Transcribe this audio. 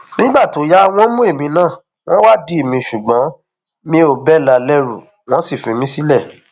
nígbà tó yá wọn mú èmi náà wọn wádìí mi ṣùgbọn mi ò bẹlà lẹrù wọn sì fi mí sílẹ